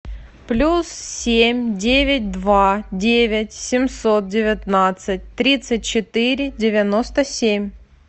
плюс семь девять два девять семьсот девятнадцать тридцать четыре девяносто семь